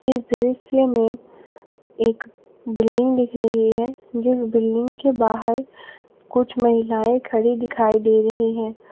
इस दृश्य में एक बिल्डिंग दिख रही है जिस बिल्डिंग के बाहर कुछ महिलाएं खड़ी दिखाई दे रही है।